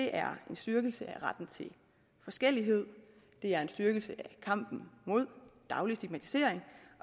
er en styrkelse af retten til forskellighed det er en styrkelse af kampen mod daglig stigmatisering